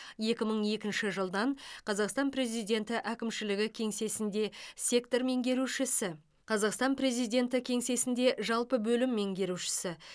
екі мың екінші жылдан қазақстан президенті әкімшілігі кеңсесінде сектор меңгерушісі қазақстан президенті кеңсесінде жалпы бөлім меңгерушісі